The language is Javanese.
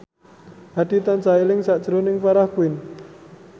Hadi tansah eling sakjroning Farah Quinn